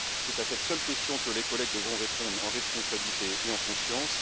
C'est à cette seule question que les collègues devront répondre en responsabilité et en conscience.